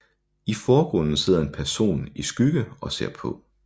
I forgrunden sidder en person i skygge og ser på